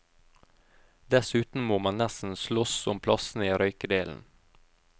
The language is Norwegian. Dessuten må man nesten sloss om plassene i røykedelen.